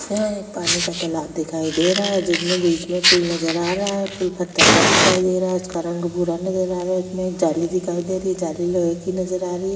यह एक पानी का तालाब दिखाई दे रहा है जिसमें बीच में पूल नजर आ रहा है पूल पतरका दिखाई दे रहा है उसका रंग भूरा नजर आ रहा है उसमें एक जाली दिखाई दे रही है जाली लोहे की नजर आ रही है।